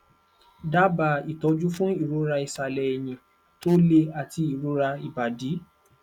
daba ìtọjú fún ìroraisale ẹyìn tó le àti ìrora ibadi